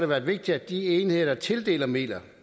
været vigtigt at de enheder der tildeler midler